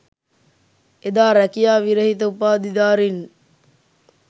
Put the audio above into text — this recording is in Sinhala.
එදා රැකියා විරහිත උපාධිධාරින්